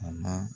A ma